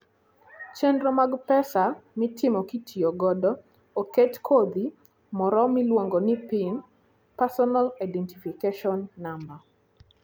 Chenro mag pesa mitimo kitiyo godo, oket kodhi moro miluongo ni PIN (personal identification number).